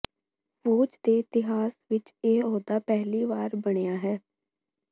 ਫੌਜ ਦੇ ਇਤਿਹਾਸ ਵਿਚ ਇਹ ਅਹੁਦਾ ਪਹਿਲੀ ਵਾਰ ਬਣਿਆ ਹੈ